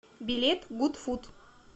билет гуд фуд